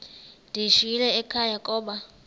ndiyishiyile ekhaya koba